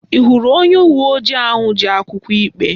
Ị hụrụ onye uwe ojii ahụ ji akwụkwọ ikpe?